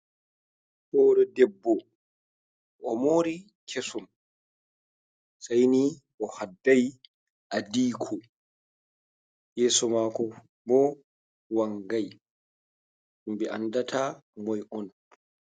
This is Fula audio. Hoore debbo o moori kesum, sayni o hadday adiiko, yeeso maako bo wanngay, himɓe anndata moy on.